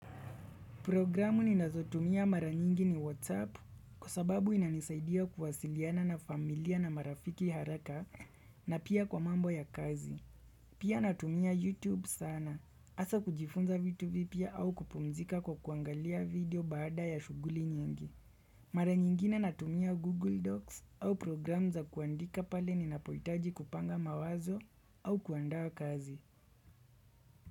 Programu ninazotumia mara nyingi ni WhatsApp kwa sababu inanisaidia kuwasiliana na familia na marafiki haraka na pia kwa mambo ya kazi. Pia natumia YouTube sana. Hasa kujifunza vitu vipya au kupumzika kwa kuangalia video baada ya shughuli nyingi. Mara nyingine natumia Google Docs au programu za kuandika pale ninapohitaji kupanga mawazo au kuandaa kazi.